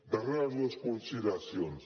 darreres dues consideracions